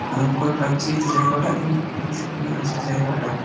ভয়ঙ্কর লাগছে একটু জায়গাটা | কিন্তু খুবই সুন্দর আছে এ জায়গা টা ।